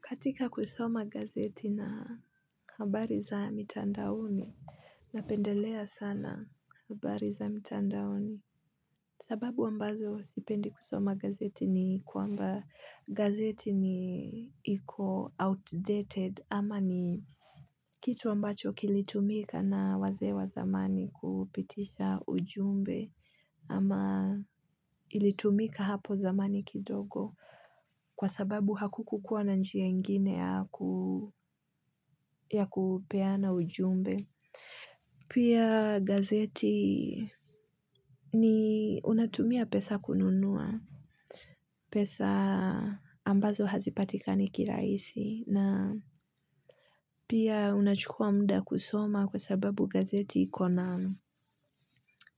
Katika kusoma gazeti na habari za mitandaoni, napendelea sana habari za mitandaoni. Sababu ambazo sipendi kusoma gazeti ni kwamba gazeti ni iko outdated ama ni kitu ambacho kilitumika na wazee wa zamani kupitisha ujumbe ama ilitumika hapo zamani kidogo. Kwa sababu hakukukuwa na njia ingine ya kupeana ujumbe. Pia gazeti ni unatumia pesa kununua. Pesa ambazo hazipatikani kirahisi. Na pia unachukua muda kuisoma kwa sababu gazeti iko na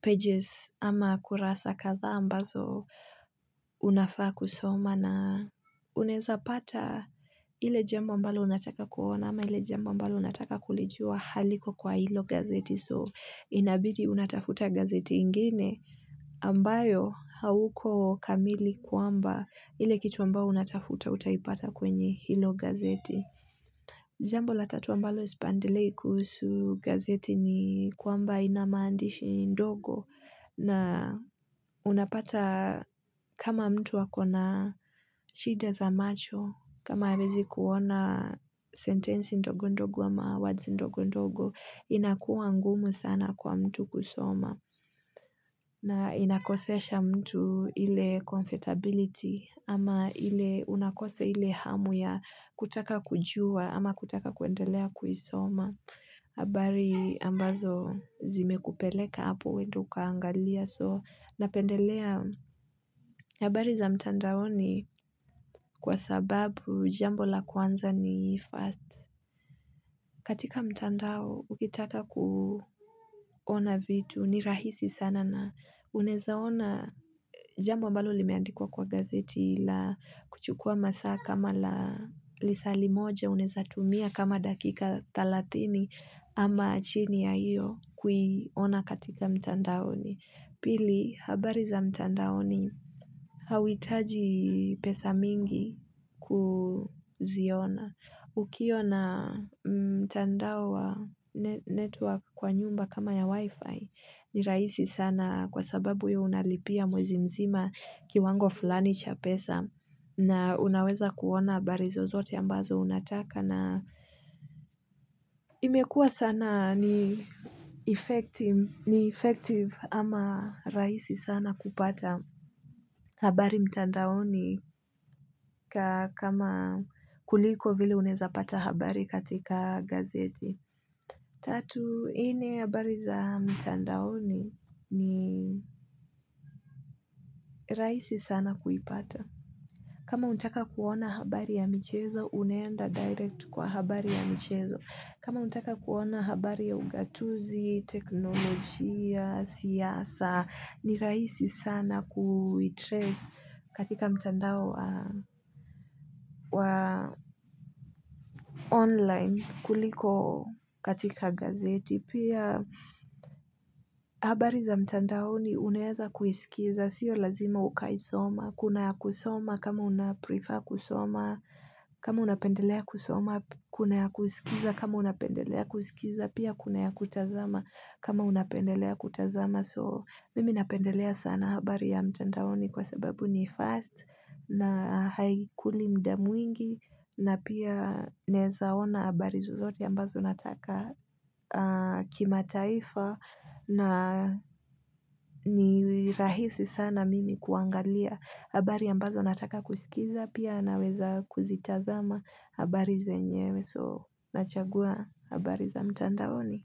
pages. Ama kurasa kadhaa ambazo unafaa kusoma. Na unaeza pata ile jambo ambalo unataka kuona ama ile jambo ambalo unataka kulijua haliko kwa hilo gazeti so inabidi unatafuta gazeti ingine ambayo hauko kamili kwamba ile kitu ambao unatafuta utaipata kwenye hilo gazeti. Jambo la tatu ambalo sipendelei kuhusu gazeti ni kwamba ina maandishi ndogo na unapata kama mtu ako na shida za macho kama hawezi kuona sentensi ndogo ndogo ama words ndogo ndogo inakuwa ngumu sana kwa mtu kusoma. Na inakosesha mtu ile comfortability ama ile unakosa ile hamu ya kutaka kujua ama kutaka kuendelea kuisoma. Habari ambazo zimekupeleka hapo uende ukaangalia so napendelea habari za mtandaoni kwa sababu jambo la kwanza ni first. Katika mtandao, ukitaka kuona vitu ni rahisi sana na unaeza ona jambo ambalo limeandikwa kwa gazeti la kuchukua masaa kama la lisaa limoja unaeza tumia kama dakika thelathini ama chini ya hiyo kuiona katika mtandaoni pili habari za mtandaoni hauhitaji pesa mingi kuziona. Ukiwa na mtandao wa network kwa nyumba kama ya wifi ni rahisi sana kwa sababu ya unalipia mwezi mzima kiwango fulani cha pesa na unaweza kuona habari zozote ambazo unataka na imekua sana ni effective ama raisi sana kupata habari mtandaoni kama kuliko vile unaeza pata habari katika gazeti. Tatu, nne habari za mtandaoni ni rahisi sana kuipata. Kama unataka kuona habari ya michezo, unaenda direct kwa habari ya michezo. Kama unataka kuona habari ya ugatuzi, teknolojia, siasa, ni rahisi sana kuitrace katika mtandao wa online kuliko katika gazeti. Pia habari za mtandaoni unaeza kuisikiza, siyo lazima ukaisoma, kuna ya kusoma kama unaprefer kusoma, kama unapendelea kusoma kuna ya kusikiza, kama unapendelea kusikiza, pia kuna ya kutazama kama unapendelea kutazama. So mimi napendelea sana habari ya mtandaoni kwa sababu ni fast na haikuli muda mwingi na pia naeza ona habari zozote ambazo nataka kimataifa na ni rahisi sana mimi kuangalia habari ambazo nataka kusikiza pia naweza kuzitazama habari zenyewe so nachagua habari za mtandaoni.